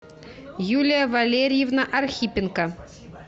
юлия валерьевна архипенко